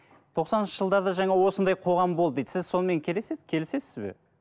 тоқсаныншы жылдарда жаңа осындай қоғам болды дейді сіз сонымен келісесіз бе